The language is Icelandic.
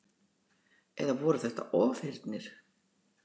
Eða voru þetta ofheyrnir?